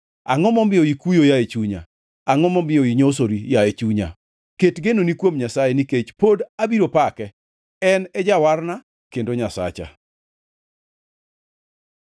Angʼo momiyo ikuyo, yaye chunya? Angʼo momiyo inyosori, yaye chunya? Ket genoni kuom Nyasaye, nikech pod abiro pake, en e Jawarna kendo Nyasacha.